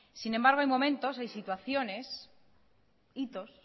sin embargo hay momentos hay situaciones hitos